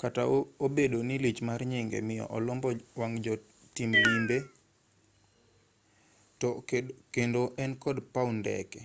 kata obedo ni lich mar nyinge miyo olombo wang' jotim limbe to kendo en kod paw ndeke